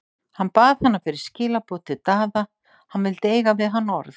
Hann bað hana fyrir skilaboð til Daða, hann vildi eiga við hann orð.